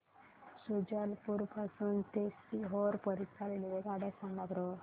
शुजालपुर पासून ते सीहोर करीता रेल्वेगाड्या सांगा बरं